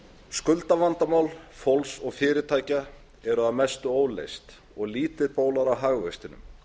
skuldavandamál fólks og fyrirtækja eru að mestu óleyst og lítil bólar á hagvextinum